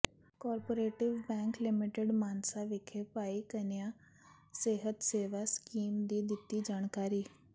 cooperative bank limited Mansa ਵਿਖੇ ਭਾਈ ਘਨੱਈਆ ਸਿਹਤ ਸੇਵਾ ਸਕੀਮ ਦੀ ਦਿੱਤੀ ਜਾਣਕਾਰੀ